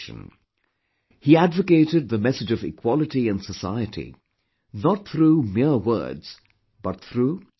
He advocated the message of equality in society, not through mere words but through concrete endeavour